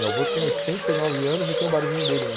Meu, olhar, avô tem oitenta e nove anos e tem o barzinho dele ainda.